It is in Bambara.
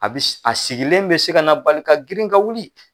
A bi a sigilen bi se ka na bali ka girin ka wuli